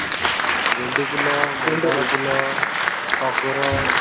ଗେଣ୍ଡୁ ଫୁଲ ମନ୍ଦାର ଫୁଲ ଟଗର